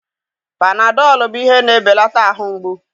Panadọlụ bụ ihe na-ebelata ahụ mgbu